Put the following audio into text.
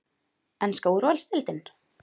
Enska úrvalsdeildin?